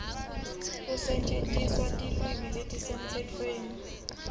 kusetjentiswa kwetilwimi letisemtsetfweni